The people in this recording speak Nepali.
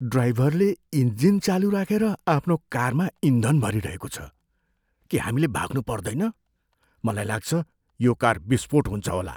ड्राइभरले इन्जिल चालु राखेर आफ्नो कारमा इन्धन भरिरहेको छ। के हामीले भाग्नु पर्दैन? मलाई लाग्छ यो कार विस्फोट हुन्छ होला।